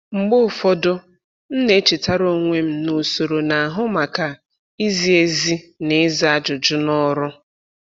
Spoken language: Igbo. Mgbe ụfọdụ, m na-echetara onwe m na usoro na-ahụ maka izi ezi na ịza ajụjụ na ọrụ.